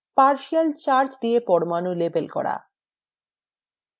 partial charge দিয়ে পরমাণু label করা